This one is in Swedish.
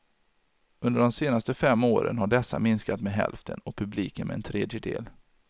Under de senaste fem åren har dessa minskat med hälften och publiken med en tredjedel.